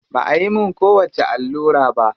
Ba ayi mun kowacce allura ba.